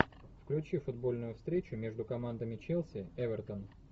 включи футбольную встречу между командами челси эвертон